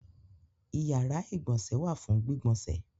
Ìyàrá-ìgbọ̀nsẹ̀ wà fún gbígbọnsẹ̀.